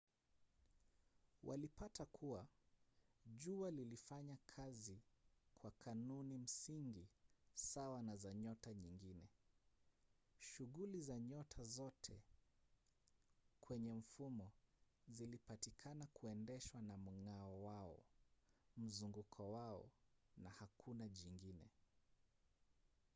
walipata kuwa jua lilifanya kazi kwa kanuni msingi sawa na za nyota nyingine: shuguli za nyota zote kwenye mfumo zilipatikana kuendeshwa na mng'ao wao mzunguko wao na hakuna jingine